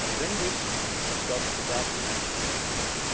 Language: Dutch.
Ik denk dus dat wij daar goed naar moeten kijken.